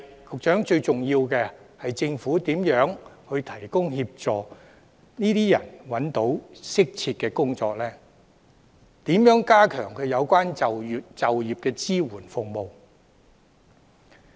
可是，最重要的是政府如何協助這些人找到適切的工作，以及如何加強就業支援服務。